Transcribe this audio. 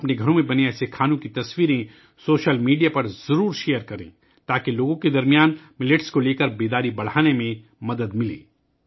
آپ اپنے گھروں میں بننے والی ایسی ڈشز کی تصویریں سوشل میڈیا پر ضرور شیئر کریں تاکہ لوگوں میں ملٹ کے بارے میں آگاہی بڑھانے میں مدد ملے